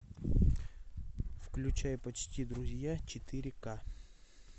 включай почти друзья четыре к